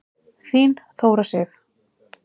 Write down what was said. Þín Þóra Sif.